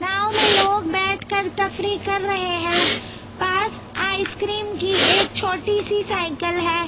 गाँव मे लोग बेठकर तफरी कर रहे है पास आइस क्रीम की एक छोटी सी साइकिल है।